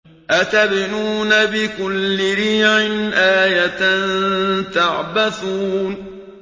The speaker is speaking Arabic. أَتَبْنُونَ بِكُلِّ رِيعٍ آيَةً تَعْبَثُونَ